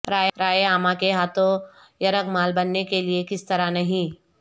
رائے عامہ کے ہاتھوں یرغمال بننے کے لئے کس طرح نہیں